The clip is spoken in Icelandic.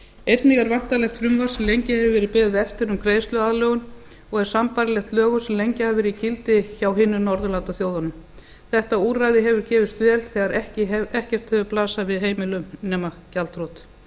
einnig er væntanlegt frumvarp sem lengi hefur verið beðið eftir um greiðsluaðlögun og er sambærilegt lögum sem lengi hafa verið í gildi hjá hinum norðurlandaþjóðunum þetta úrræði hefur gefist vel þegar ekkert hefur blasað við heimilum nema gjaldþrot